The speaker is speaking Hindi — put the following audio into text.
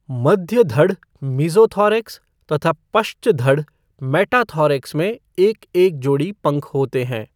मध्य धड़, मीजोथोरैक्स तथा पश्चधड़, मैटाथोरैक्स में एक एक जोड़ी पंख होते हैं।